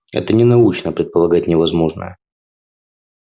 это ненаучно предполагать невозможное